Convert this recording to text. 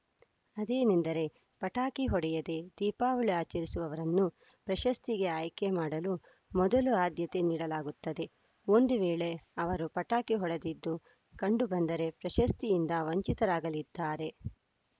ಅದೇನೆಂದರೆ ಪಟಾಕಿ ಹೊಡೆಯದೇ ದೀಪಾವಳಿ ಆಚರಿಸಿವವರನ್ನು ಪ್ರಶಸ್ತಿಗೆ ಆಯ್ಕೆ ಮಾಡಲು ಮೊದಲು ಆದ್ಯತೆ ನೀಡಲಾಗುತ್ತದೆ ಒಂದು ವೇಳೆ ಅವರು ಪಟಾಕಿ ಹೊಡೆದಿದ್ದು ಕಂಡುಬಂದರೆ ಪ್ರಶಸ್ತಿಯಿಂದ ವಂಚಿತರಾಗಲಿದ್ದಾರೆ